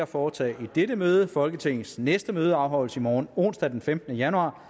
foretage i dette møde folketingets næste møde afholdes i morgen onsdag den femtende januar